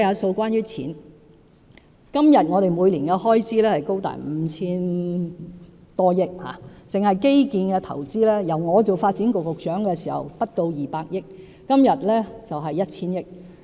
政府現時的每年開支高達 5,000 多億元，單是基建投資，我擔任發展局局長時不到200億元，今天已達 1,000 億元。